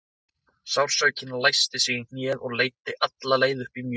Sársaukinn læsti sig í hnéð og leiddi alla leið upp í mjöðm.